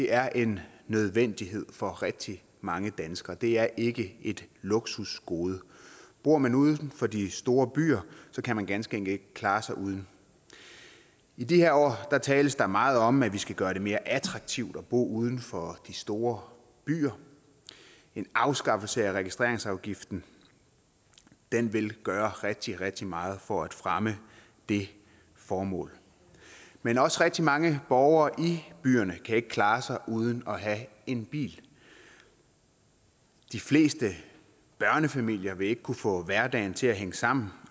er en nødvendighed for rigtig mange danskere det er ikke et luksusgode bor man uden for de store byer kan man ganske enkelt ikke klare sig uden i de her år tales der meget om at vi skal gøre det mere attraktivt at bo uden for de store byer en afskaffelse af registreringsafgiften vil gøre rigtig rigtig meget for at fremme det formål men også rigtig mange borgere i byerne kan ikke klare sig uden at have en bil de fleste børnefamilier vil ikke kunne få hverdagen til at hænge sammen